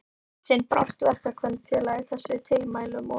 Eitt sinn brást Verkakvennafélagið þessum tilmælum og